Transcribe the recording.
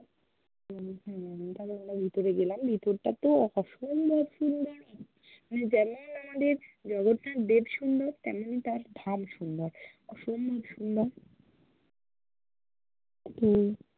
তারপর আমরা ভিতরে গেলাম, ভিতরটা-তেও অসম্ভব সুন্দর মানে যেমন আমাদের জগন্নাথ দেব সুন্দর তেমনই তার ধাম সুন্দর, অসম্ভব সুন্দর হম